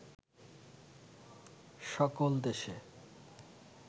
সকল দেশে